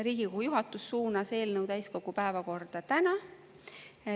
Riigikogu juhatus suunas eelnõu täiskogu päevakorda täna.